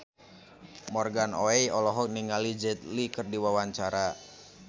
Morgan Oey olohok ningali Jet Li keur diwawancara